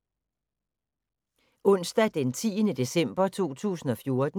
Onsdag d. 10. december 2014